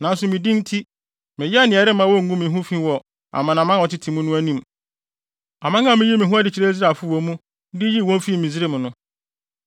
Nanso me din nti meyɛɛ nea ɛremma wonngu me ho fi wɔ amanaman a wɔtete mu no anim, aman a miyii me ho adi kyerɛɛ Israelfo wɔ mu, de yii wɔn fii Misraim no.